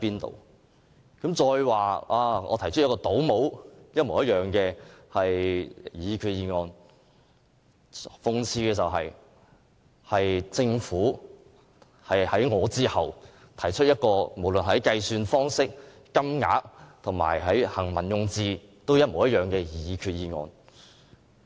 他還指我提出與政府一模一樣的擬議決議案，但諷刺的是，政府是在我之後才提出一項無論在計算方式、金額和行文用字均一樣的擬議決議案。